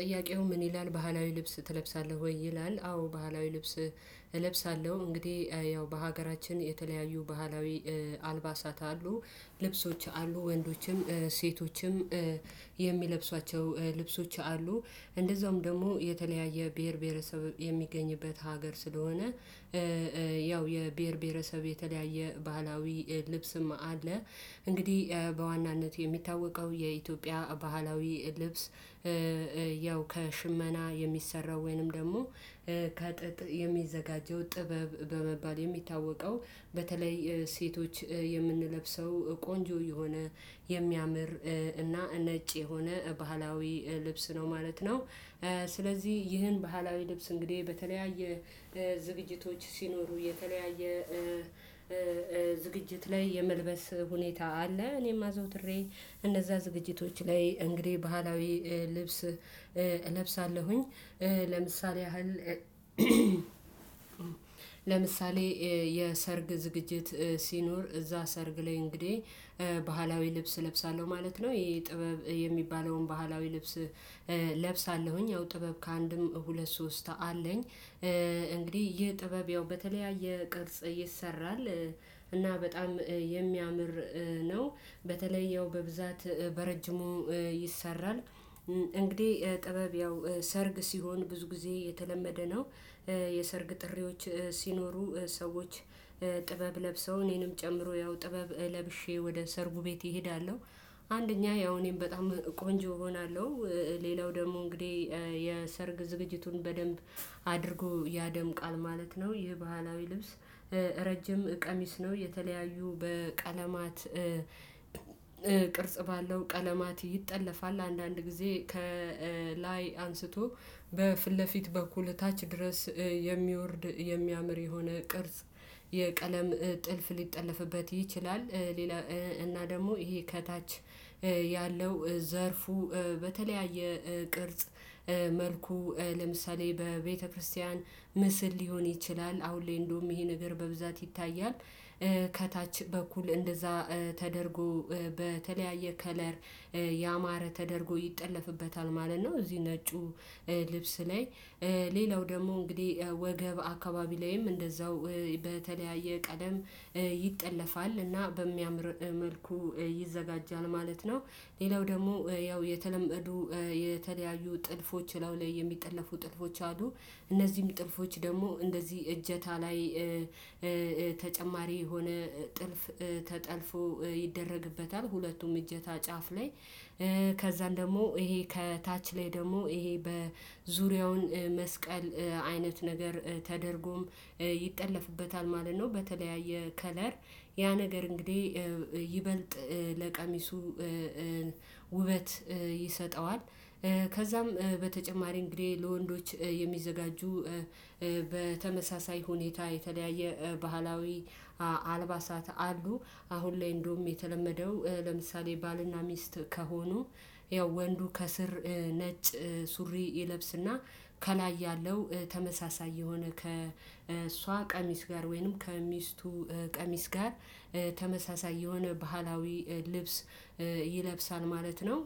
ጥያቄው ምን ይላል ባህላዊ ልብስ ትለብሳለህ ወይ ይላል? አዎ ባህላዊ ልብስ እለብሳለሁ። እንግዲህ ያው በሀገራችን የተለያዩ ባህላዊ አልባሳታት አሉ ልብሶች አሉ። ወንዶችም ሴቶችም የሚለብሷቸው ልብሶች አሉ። እንደዛውም ደግሞ የተለያየ ብሄር ብሄረሰብ የሚገኝበት ሀገር ስለሆነ ያው የብሄር ብሄረሰብ የተለያየ ባህላዊ ልብስም አለ። እንግዲህ በዋናነት የሚታወቀው የኢትዮጵያ ባህላዊ ልብስ ከሽመና የሚሰራው ወይንም ደግሞ ከጥጥ የሚዘጋጀው ጥበብ በመባል የሚታወቀው በተለይ ሴቶች የምንለብሰው ቆንጆ የሆነ የሚያምር እና ነጭ የሆነ ባህላዊ ልብስ ነው ማለት ነው። ስለዚህ ይህን ባህላዊ ልብስ እንግዲህ በተለያየ ዝግጅቶች ሲኖሩ የተለያየ ዝግጅት ላይ የመልበስ ሁኔታ አለ እኔም አዘውትሬ እነዛ ዝግጅቶች ላይ እንግዲህ ባህላዊ ልብስ እለብሳለሁኝ። ለምሳሌ ያህል ለምሳሌ የሰርግ ዝግጅት ሲኖር እዛ ሰርግ ላይ እንግዲህ ባህላዊ ልብስ እለብሳለሁ ማለት ነው። ይሄ ጥበብ የሚባለውን ባህላዊ ልብስ እለብሳለሁኝ ያው ጥበብ ከአንድም ሁለት ሶስት አለኝ እንግዲህ ይህ ጥበብ ያው በተለያየ ቅርጽ ይሰራል። እና በጣም የሚያምር ነው በተለይ ያው በብዛት በረጅሙ ይሰራል እንግዲህ ጥበብ ያው ሰርግ ሲሆን ብዙ ጊዜ የተለመደ ነው። የሰርግ ጥሪዎች ሲኖሩ ሰዎች ጥበብ ለብሰው እኔንም ጨምሮ ያው ጥበብ ለብሼ ወደ ሰርጉ ቤት እሄዳለሁ። አንደኛ ያው እኔም በጣም ቆንጆ እሆናለሁ ሌላው ደግሞ እንግዲህ የሰርግ ዝግጅቱን በደንብ አድርጎ ያደምቃል ማለት ነው። ይህ ባህላዊ ልብስ ረጅም ቀሚስ ነው የተለያዩ በቀለማት ቅርጽ ባለው ቀለማት ይጠለፋል አንዳንድ ጊዜ ከላይ አንስቶ በፊት ለፊት በኩል ታች ድረስ የሚወርድ የሚያምር የሆነ ቅርጽ የቀለም ጥልፍ ሊጠለፍበት ይችላል። ሌላ እና ደግሞ ይሄ ከታች ያለው ዘርፉ በተለያየ ቅርጽ መልኩ ለምሳሌ በቤተክርስቲያን ምስል ሊሆን ይችላል አሁን ላይ እንደውም ይሄን ነገር በብዛት ይታያል። ከታች በኩል እንደዛ ተደርጎ በተለያየ ከለር ያማረ ተደርጎ ይጠለፍበታል ማለት ነው። እዚህ ነጩ ልብስ ላይ ሌላው ደግሞ እንግዲህ ወገብ አካባቢ ላይም እንደዛው ቀደም ይጠለፋል እና በሚያምር መልኩ ይዘጋጃል ማለት ነው። ሌላው ደግሞ ያው የተለመዱ የተለያዩ ጥልፎች እላዩ ላይ የሚጠለፉ ጥልፎች አሉ። እነዚህም ጥልፎች ደግሞ እንደዚህ እጀታ ላይ ተጨማሪ የሆነ ጥልፍ ተጠልፎ ይደረግበታል። ሁለቱም እጀታ ጫፍ ላይ ከዛም ደግሞ ይሄ ከታች ላይ ደግሞ ይሄ በዙሪያውን መስቀል አይነት ነገር ተደርጎም ይጠለፍበታል ማለት ነው። በተለያየ ከለር ያ ነገር እንግዲህ ይበልጥ ለቀሚሱ ውበት ይሰጠዋል። ከዛም በተጨማሪ እንግዲህ ለወንዶች የሚዘጋጁ በተመሳሳይ ሁኔታ የተለያየ ባህላዊ አልባሳት አሉ። አሁን ላይ እንደውም የተለመደው ለምሳሌ ባልና ሚስት ከሆኑ ያው ወንዱ ከስር ነጭ ሱሪ ይለብስና ከላይ ያለው ተመሳሳይ የሆነ ከእሷ ቀሚስ ጋር ወይንም ከሚስቱ ቀሚስ ጋር ተመሳሳይ የሆነ ባህላዊ ልብስ ይለብሳል ማለት ነው።